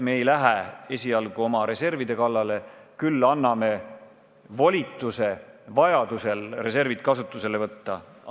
Me ei lähe esialgu oma reservide kallale, aga anname volituse vajadusel reservid kasutusele võtta.